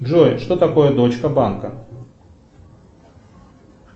джой что такое дочка банка